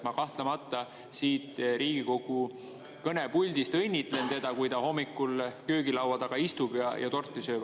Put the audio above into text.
Ma kahtlemata siit Riigikogu kõnepuldist õnnitlen teda, kui ta hommikul köögilaua taga istub ja torti sööb.